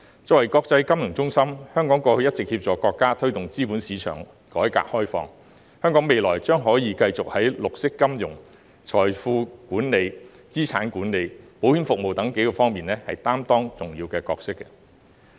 作為國際金融中心，香港過去一直協助國家推動資本市場改革開放，香港未來將可繼續在綠色金融、財富管理、資產管理和保險服務等方面擔當重要的角色。